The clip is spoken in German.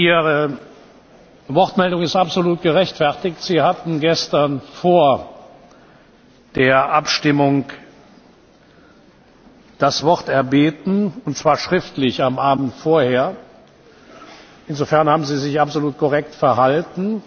Ihre Wortmeldung ist absolut gerechtfertigt. Sie hatten gestern vor der Abstimmung das Wort erbeten, und zwar schriftlich am Abend vorher. Insofern haben sie sich absolut korrekt verhalten.